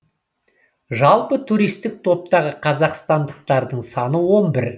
жалпы туристік топтағы қазақстандықтардың саны он бір